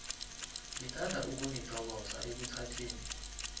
ngithanda ukunithokoza ekuthatheni